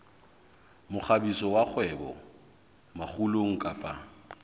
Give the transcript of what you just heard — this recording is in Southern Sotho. mokgabiso wa kgwebo makgulong kapa